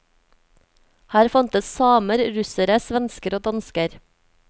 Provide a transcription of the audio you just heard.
Her fantes samer, russere, svensker og dansker.